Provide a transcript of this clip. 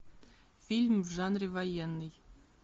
фильм в жанре военный